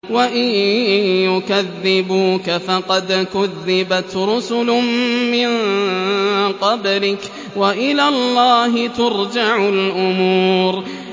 وَإِن يُكَذِّبُوكَ فَقَدْ كُذِّبَتْ رُسُلٌ مِّن قَبْلِكَ ۚ وَإِلَى اللَّهِ تُرْجَعُ الْأُمُورُ